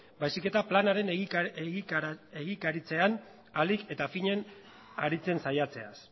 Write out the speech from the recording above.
baizik eta planaren egikaritzean ahalik eta finen aritzen saiatzeaz